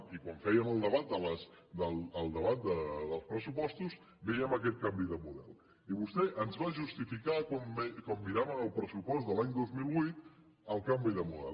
i quan fèiem el debat dels pressupostos vèiem aquest canvi de model i vostè ens va justificar quan miràvem el pressupost de l’any dos mil vuit el canvi de model